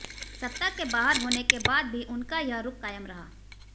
सत्ता के बाहर होने के बाद भी उनका यह रुख कायम रहा